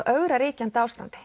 ögra ríkjandi ástandi